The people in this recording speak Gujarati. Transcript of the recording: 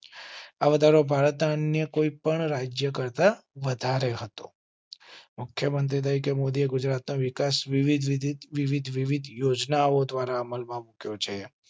આ વધારો ભારતના અન્ય કોઈપણ રાજ્ય કરતાં વધારે હતો. મુખ્ય મંત્રી કે મોદીએ ગુજરાત નો વિકાસ વિવિધ. યોજનાઓ દ્વારા અમલમાં મુક્યો છે.